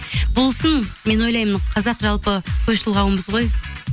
болсын мен ойлаймын қазақ жалпы тойшыл қауымбыз ғой